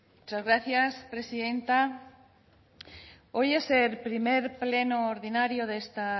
muchas gracias presidenta hoy es el primer pleno ordinario de esta